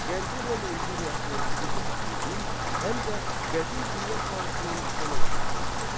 Qərbi Roma imperiyasının süqut etdiyi il həm də qədim dünya tarixinin sonu hesab olunur.